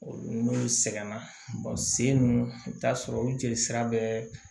Olu n'olu sɛgɛnna se mun i bi t'a sɔrɔ u jeli sira bɛɛ